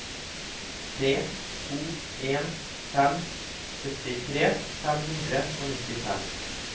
tre to en fem syttitre fem hundre og nittifem